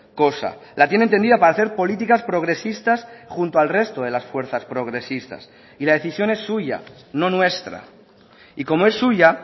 cosa la tienen tendida para hacer políticas progresistas junto al resto de las fuerzas progresistas y la decisión es suya no nuestra y como es suya